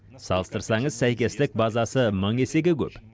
салыстырсаңыз сәйкестік базасы мың есеге көп